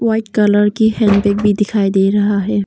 White colour की handbag भी दिखाई दे रहा है।